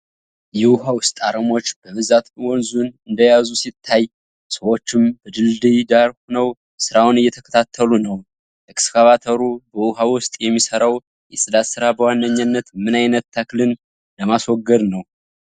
የውሃ ውስጥ አረሞች በብዛት ወንዙን እንደያዙ ሲታይ፣ ሰዎችም በድልድዩ ዳር ሆነው ሥራውን እየተከታተሉ ነው። ኤክስካቫተሩ በውሃ ውስጥ የሚሰራው የፅዳት ሥራ በዋነኛነት ምን ዓይነት ተክልን ለማስወገድ ነው?